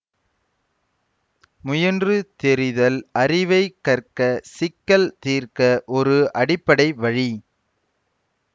முயன்று தெரிதல் அறிவைக் கற்க சிக்கல் தீர்க்க ஒரு அடிப்படை வழி